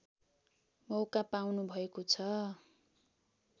मौका पाउनुभएको छ